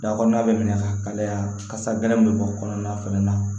Da kɔnɔna bɛ minɛ ka kalaya kasa gɛlɛn bɛ bɔ kɔnɔna fɛnɛ na